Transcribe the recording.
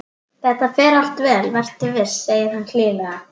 Þetta fer allt vel, vertu viss, segir hann hlýlega.